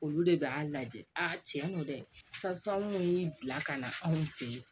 Olu de bɛ a lajɛ a tiɲɛ don dɛ karisa anw y'i bila ka na anw fe yen